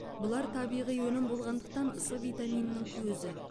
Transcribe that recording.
бұлар табиғи өнім болғандықтан с витаминінің көзі